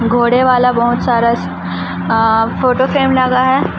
घोड़े वाला बहुत सारा अह फोटो फ्रेम लगा है।